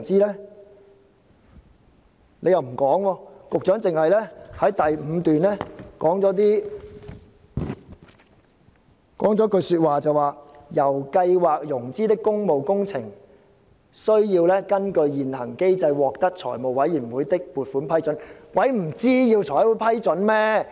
局長又不說，只在第五段提到："由計劃融資的工務工程，須......根據現行機制獲得財務委員會的撥款批准。